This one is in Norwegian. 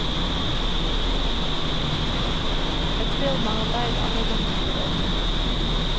Ett firma har leid alle rommene til åpningen.